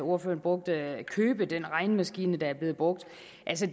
ordføreren brugte den regnemaskine der er blevet brugt